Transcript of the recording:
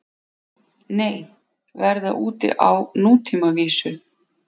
Nei, verða úti á nútímavísu